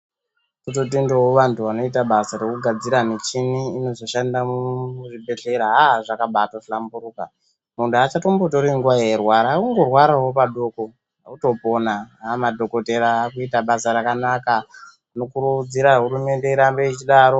Tototendawo vantu vanoita basa rekugadzira muchini inozoshanda muzvibhehleya aah zvakambatohlamburuka muntu haachatori nguwa achirwara otorwara padoko otopona madhokodheya nekuita basa rakanaka tinokurudzira hurumende irambe ichidaro.